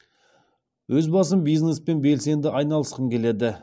өз басым бизнеспен белсенді айналысқым келеді